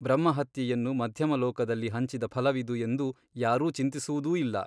ಬ್ರಹ್ಮಹತ್ಯೆಯನ್ನು ಮಧ್ಯಮಲೋಕದಲ್ಲಿ ಹಂಚಿದ ಫಲವಿದು ಎಂದು ಯಾರೂ ಚಿಂತಿಸುವುದೂ ಇಲ್ಲ.